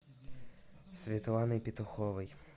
светланой петуховой